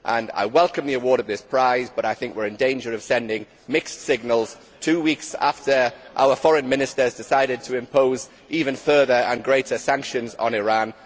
I welcome the award of this prize, but I think we are in danger of sending mixed signals two weeks after our foreign ministers decided to impose further and greater sanctions on Iran.